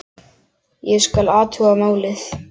Ég skal athuga málið